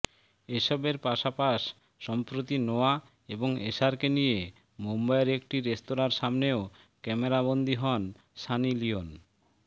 এসবের পাশাপাশ সম্প্রতি নোয়া এবং এশারকে নিয়ে মুম্বইয়ের একটি রেস্তোরাঁর সামনেও ক্যামেরাবন্দি হন সানি লিওন